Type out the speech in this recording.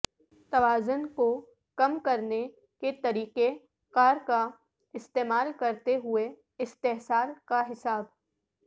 توازن کو کم کرنے کے طریقہ کار کا استعمال کرتے ہوئے استحصال کا حساب